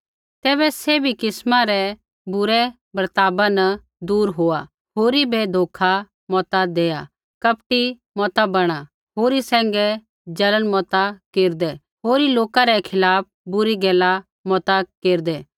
तैबै सैभी किस्मा रै बुरै बर्ताव न दूर होआ होरी बै धोखा मता देआ कपटी मता बणा होरी सैंघै जलन मता केरदै होरी लोका रै खिलाफ़ बुरी गैला मता केरदै